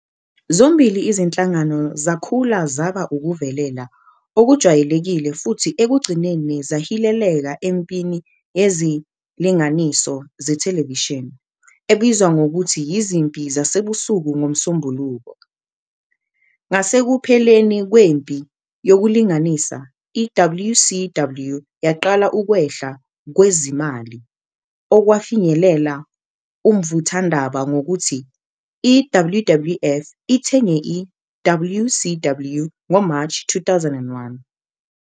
Zombili izinhlangano zakhula zaba ukuvelela okujwayelekile futhi ekugcineni zahileleka empini yezilinganiso zethelevishini, ebizwa ngokuthi Izimpi Zasebusuku NgoMsombuluko. Ngasekupheleni kwempi yokulinganisa, i-WCW yaqala ukwehla kwezimali, okwafinyelela umvuthwandaba ngokuthi i-WWF ithenge i-WCW ngo-March 2001.